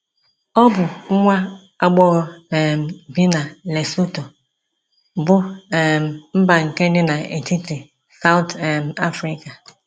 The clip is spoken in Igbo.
Ọ bụ nwa agbọghọ um bi na Lesotho, bụ́ um mba nke dị n’etiti South um Afrịka.